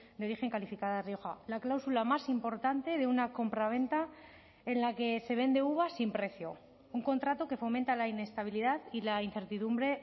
de origen calificada rioja la cláusula más importante de una compraventa en la que se vende uva sin precio un contrato que fomenta la inestabilidad y la incertidumbre